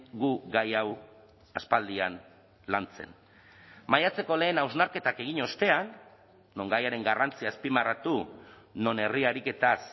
gu gai hau aspaldian lantzen maiatzeko lehen hausnarketak egin ostean non gaiaren garrantzia azpimarratu non herri ariketaz